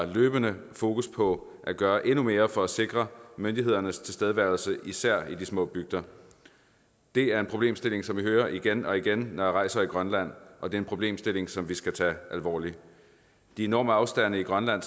løbende har fokus på at gøre endnu mere for at sikre myndighedernes tilstedeværelse især i de små bygder det er en problemstilling som jeg hører om igen og igen når jeg rejser i grønland og det er en problemstilling som vi skal tage alvorligt de enorme afstande i grønland